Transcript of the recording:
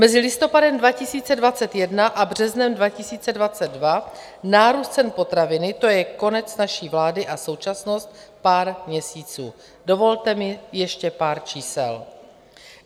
Mezi listopadem 2021 a březnem 2022 nárůst cen potravin, co je konec naší vlády a současnost, pár měsíců, dovolte mi ještě pár čísel.